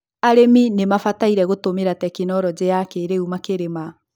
arĩmi ni mabataire gũtũmĩra tekinoronjĩ ya kĩrĩu makĩrĩma